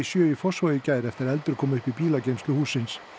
Fossvogi í gær eftir að eldur kom upp í bílageymslu hússins